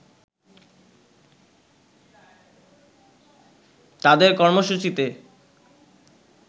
তাদের কর্মসূচিতে